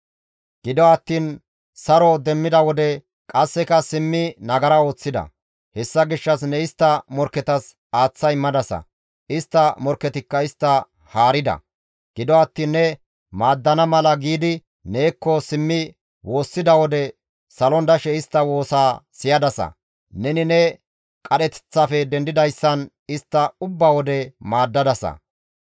«Gido attiin saro demmida wode qasseka simmi nagara ooththida; hessa gishshas ne istta morkketas aaththa immadasa; istta morkketikka istta haarida; gido attiin ne maaddana mala giidi neekko simmi woossida wode salon dashe istta woosaa siyadasa; neni ne qadheteththafe dendidayssan istta ubba wode maaddadasa.